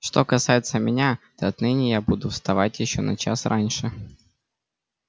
что касается меня то отныне я буду вставать ещё на час раньше